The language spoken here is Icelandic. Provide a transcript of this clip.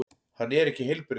Hann er ekki heilbrigður.